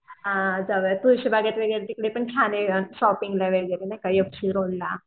हा जाऊया तुळशी बागेत वगैरे तिकडे पण छान आहे शॉपिंगला वगैरे नाही का एफ जी रोडला